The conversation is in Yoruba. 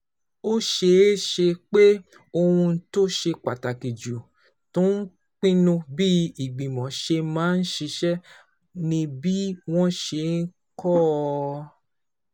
Ó ṣeé ṣe pé ohun tó ṣe pàtàkì jù tó ń pinnu bí ìgbìmọ̀ ṣe máa ṣiṣẹ́ ni bí wọ́n ṣe kọ́ ọ.